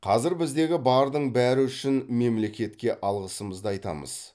қазір біздегі бардың бәрі үшін мемлекетке алғысымызды айтамыз